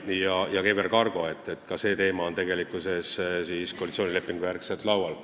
Ja ka EVR Cargo – seegi teema on koalitsioonilepingu kohaselt laual.